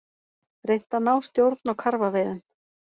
Reynt að ná stjórn á karfaveiðum